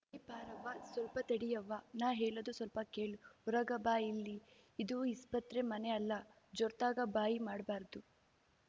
ಹೇ ಪಾರವ್ವ ಸ್ವಲ್ಪ ತಡಿಯವ್ವಾ ನಾ ಹೇಳೂದು ಸ್ವಲ್ಪ ಕೇಳು ಹೋರಗ ಬಾ ಇಲ್ಲಿ ಇದು ಇಸ್ಪತ್ರೆ ಮನೆ ಅಲ್ಲ ಜೋರ್ತಗ ಬಾಯಿ ಮಾಡ್ಬಾರ್ದು